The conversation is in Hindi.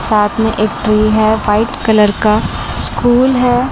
साथ में एक ट्री है वाइट कलर का स्कूल है।